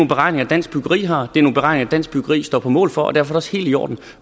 beregninger dansk byggeri har det er nogle beregninger dansk byggeri står på mål for og derfor også helt i orden